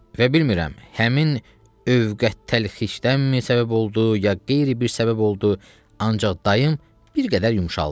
Və bilmirəm, həmin övqə təlxişdənmi səbəb oldu, ya qeyri-bir səbəb oldu, ancaq dayım bir qədər yumşaldı.